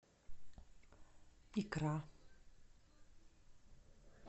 икра